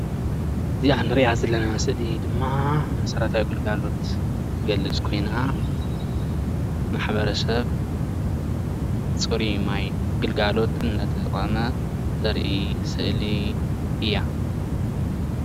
እዚኣ ንርእያ ዘለና ስእሊ ድማ መሰረታዊ ግልጋሎት ትገልፅ ኮይና ማሕበረሰብ ፅሩይ ማይ ግልጋሎት እንዳተጠቀመ ተርኢ ስእሊ እያ።